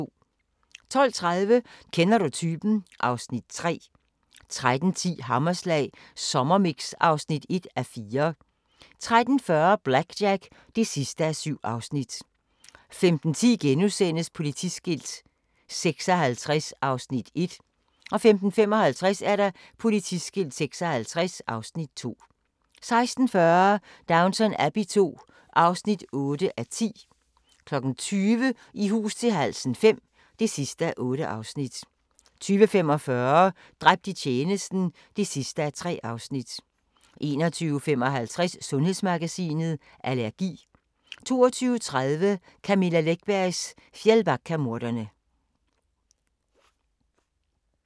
12:30: Kender du typen? (Afs. 3) 13:10: Hammerslag Sommermix (1:4) 13:40: BlackJack (7:7) 15:10: Politiskilt 56 (Afs. 1)* 15:55: Politiskilt 56 (Afs. 2) 16:40: Downton Abbey II (8:10) 20:00: I hus til halsen V (8:8) 20:45: Dræbt i tjenesten (3:3) 21:55: Sundhedsmagasinet: Allergi 22:30: Camilla Läckbergs Fjällbackamordene